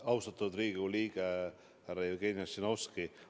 Austatud Riigikogu liige härra Jevgeni Ossinovski!